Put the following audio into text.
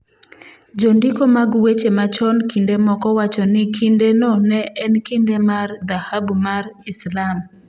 Jondiko mag weche machon kinde moko wacho ni kindeno ne en kinde mar Dhahabu mar Islam.